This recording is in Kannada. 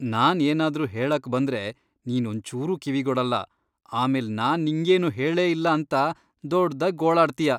ನಾನ್ ಏನಾದ್ರು ಹೇಳಕ್ ಬಂದ್ರೆ ನೀನ್ ಒಂಚೂರೂ ಕಿವಿಗೊಡಲ್ಲ, ಆಮೇಲ್ ನಾನ್ ನಿಂಗೇನೂ ಹೇಳೇ ಇಲ್ಲ ಅಂತ ದೊಡ್ದಾಗ್ ಗೋಳಾಡ್ತೀಯ.